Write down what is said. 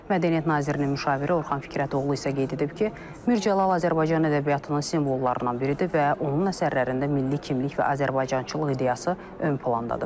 Mədəniyyət nazirinin müşaviri Orxan Fikrətoğlu isə qeyd edib ki, Mircəlal Azərbaycan ədəbiyyatının simvollarından biridir və onun əsərlərində milli kimlik və azərbaycançılıq ideyası ön plandadır.